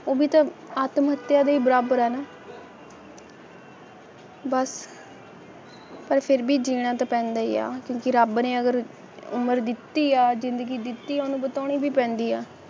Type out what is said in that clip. ਉਹ ਵੀ ਤਾਂ ਆਤਮ-ਹੱਤਿਆ ਦੇ ਬਰਾਬਰ ਹਨ ਬੱਸ ਪਰ ਫਿਰ ਵੀ ਦੀ ਜੀਣਾ ਪਾਉਣ ਲਈ ਆਇਆ ਸੀ ਕਿ ਰੱਬ ਨੇ ਅਗਰ ਉਮਰ ਦਿੱਤੀ ਆ ਜਿੰਦਗੀ ਦਿੱਤੀ ਆ ਉਸਨੂੰ ਬਤਾਉਣਾ ਤਾ ਪੈਂਦਾ ਐ